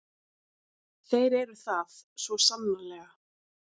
Þeir eru það, svo sannarlega.